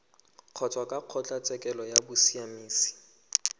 kgotsa kwa kgotlatshekelo ya bosiamisi